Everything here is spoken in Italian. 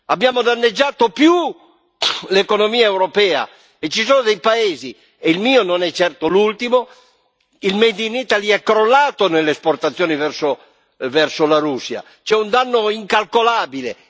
Abbiamo danneggiato di più l'economia europea e ci sono dei paesi, e il mio non è certo l'ultimo visto che il made in Italy è crollato nelle esportazioni verso la Russia, c'è un danno incalcolabile.